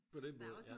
På den måde ja